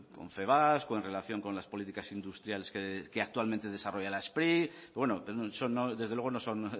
confebask en relación con las políticas industriales que actualmente desarrolla la spri desde luego no son